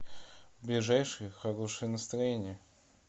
ближайший хорошее настроение